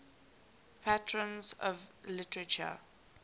patrons of literature